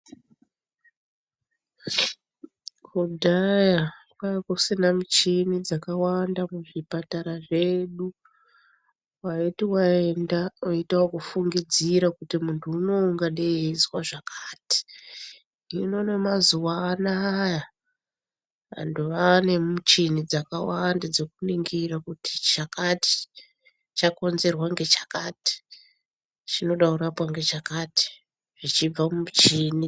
Kudhaya kwakusina muchina dzakawanda muzvipatara zvedu waiti waenda waiita ekufungidzira kuti muntu unowu unozwa zvakati hino nemazuwa anaya vantu vaane muchini dzakawanda dzekuni gira kuti chakati chakonzerwa ngechakati chinoda kurapwa ngechakati zvichibva mumuchini.